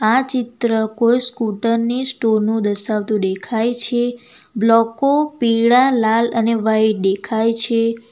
આ ચિત્ર કોઈ સ્કૂટર ની સ્ટોર નું દર્શાવતું દેખાય છે બ્લોકો પીળા લાલ અને વાઈટ દેખાય છે.